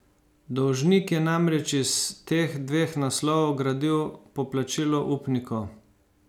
Dolžnik je namreč iz teh dveh naslovov gradil poplačilo upnikov.